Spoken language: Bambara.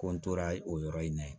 Ko n tora o yɔrɔ in na ye